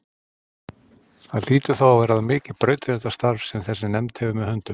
Það hlýtur þá að verða mikið brautryðjandastarf sem þessi nefnd hefur með höndum.